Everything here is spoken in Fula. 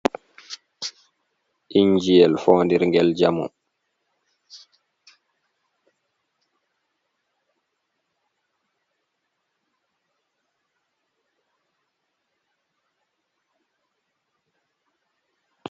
Inji'el foondir ngel jamu.